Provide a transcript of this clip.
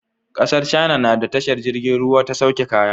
ƙasar China nada tashar jirgin ruwa ta sauke kaya